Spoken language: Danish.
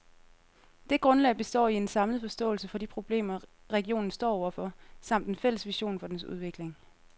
Det grundlag består i en samlet forståelse for de problemer, regionen står over for, samt en fælles vision for dens udvikling.